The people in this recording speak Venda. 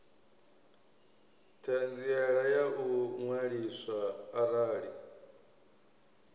ṱhanziela ya u ṅwaliswa arali